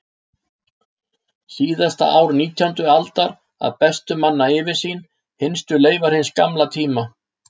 Síðasta ár nítjándu aldar að bestu manna yfirsýn, hinstu leifar hins gamla tíma.